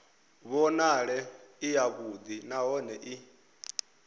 vhonale i yavhuḓi nahone i